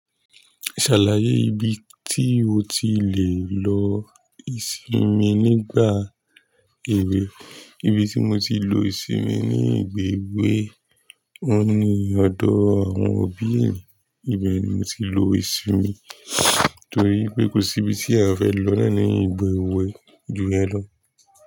Ṣàlàyé ibi tí o ti lè lò ìsinmi nígbà èwe. Ibi tí mo ti lo ìsinmi ní ìgbà èwe, òun ni ọ̀dọ̀ àwọn òbí eyan. Ibẹ̀ ni mo ti lo ìsìnmi torí pé kò sí ibi tí eyan fẹ́ lọ náà ní ìgbà èwe ju iyen lọ.